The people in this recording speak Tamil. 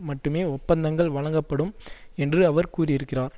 மட்டுமே ஒப்பந்தங்கள் வழங்கப்படும் என்று அவர் கூறியிருக்கிறார்